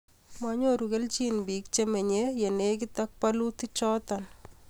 monyoru kelchin biik chemenyei ye lekite bolutichoto